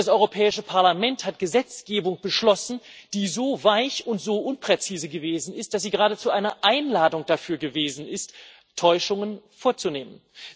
Denn das Europäische Parlament hat Gesetzgebung beschlossen, die so weich und so unpräzise gewesen ist, dass sie geradezu eine Einladung dafür gewesen ist, Täuschungen vorzunehmen.